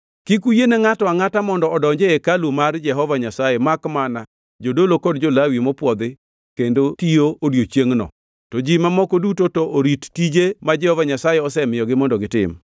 Kik uyiene ngʼato angʼata mondo odonj e hekalu mar Jehova Nyasaye makmana jodolo kod jo-Lawi mopwodhi kendo tiyo odiechiengʼno, to ji mamoko duto to orit tije ma Jehova Nyasaye osemiyogi mondo gitim.